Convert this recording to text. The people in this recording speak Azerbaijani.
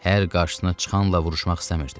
Hər qarşısına çıxanla vuruşmaq istəmirdi.